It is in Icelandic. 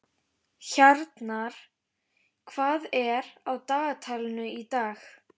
Hjarnar, hvað er á dagatalinu í dag?